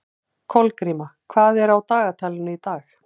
Kolgríma, hvað er á dagatalinu í dag?